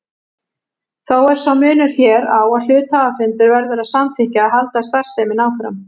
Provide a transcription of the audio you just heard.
Þó er sá munur hér á að hluthafafundur verður að samþykkja að halda starfseminni áfram.